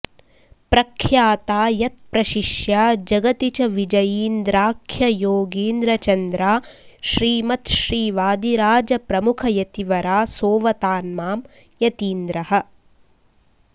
प्रख्याता यत्प्रशिष्या जगति च विजयीन्द्राख्य योगीन्द्रचन्द्रा श्रीमत् श्रीवादिराज प्रमुख यतिवरा सोवतान्मां यतीन्द्रः